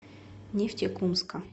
нефтекумска